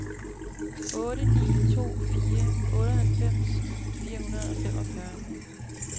otte ni to fire otteoghalvfems fire hundrede og femogfyrre